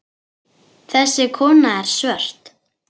Þessi kona er svört.